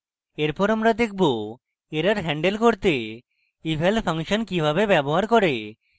error আমরা দেখব error handling করতে eval ফাংশন কিভাবে ব্যবহার করে